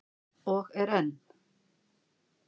Og er enn.